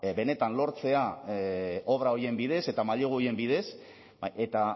benetan lortzea obra horien bidez eta mailegu horien bidez eta